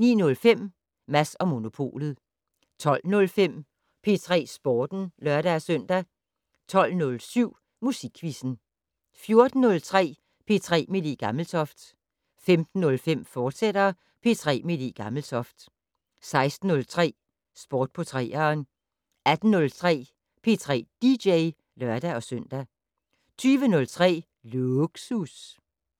09:05: Mads & Monopolet 12:05: P3 Sporten (lør-søn) 12:07: Musikquizzen 14:03: P3 med Le Gammeltoft 15:05: P3 med Le Gammeltoft, fortsat 16:03: Sport på 3'eren 18:03: P3 dj (lør-søn) 20:03: Lågsus